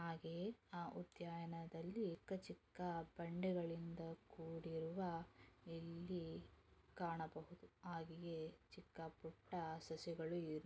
ಹಾಗೆಯೇ ಆ ಉದ್ಯಾನದಲ್ಲಿ ಚಿಕ್ಕ ಚಿಕ್ಕ ಬಂಡೆಗಳಿಂದ ಕೂಡಿರುವ ಇಲ್ಲಿ ಕಾಣಬಹುದು. ಹಾಗೆಯೇ ಚಿಕ್ಕ ಪುಟ್ಟ ಸಸಿಗಳು--